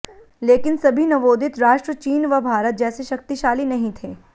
लेकिन सभी नवोदित राष्ट्र चीन व भारत जैसे शक्तिशाली नहीं थे